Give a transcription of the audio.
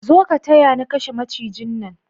Zo ka taya ni kashe macijin nan